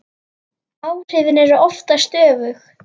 Áhrifin eru oftast öfug.